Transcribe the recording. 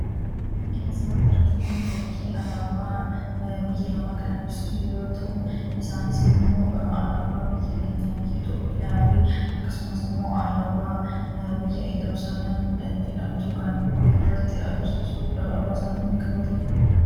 Fakkiin asirratti arginu kun fakkii alaabaa biyya lamaa kan agarsiisu yoo ta'u,i isaanis immoo alaabaa biyya keenya biyya Itoophiyaa fi akkasumas immoo alaabaa biyya Yerusaalem jedhamtu kan ofirratti agarsiisu alaabaa isaanii kan qabatee jiruu dha.